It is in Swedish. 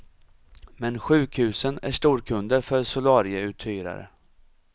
Men sjukhusen är storkunder för solarieuthyrare.